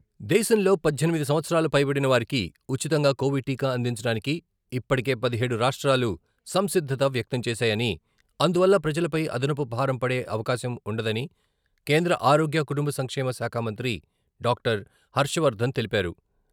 దేశంలో పద్దెనిమిది సంవత్సరాలు పైబడిన వారికి ఉచితంగా కొవిడ్ టీకా అందించడానికి ఇప్పటికే పదిహేడు రాష్ట్రాలు సంసిద్ధత వ్యక్తం చేశాయని, అందువల్ల ప్రజలపై అదనపు భారం పడే అవకాశం ఉండదని కేంద్ర ఆరోగ్య, కుటుంబ సంక్షేమ శాఖ మంత్రి డాక్టర్ హర్షవర్ధన్ తెలిపారు.